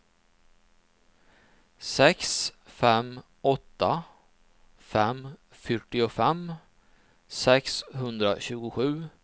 sex fem åtta fem fyrtiofem sexhundratjugosju